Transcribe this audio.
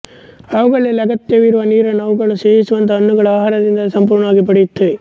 ಅವುಗಳಿಗೆ ಅಗತ್ಯವಾಗಿರುವ ನೀರನ್ನು ಅವುಗಳು ಸೇವಿಸುವಂತಹ ಹಣ್ಣುಗಳ ಆಹಾರದಿಂದಲೇ ಸಂಪೂರ್ಣವಾಗಿ ಪಡೆಯುತ್ತವೆ